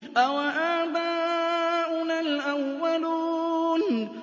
أَوَآبَاؤُنَا الْأَوَّلُونَ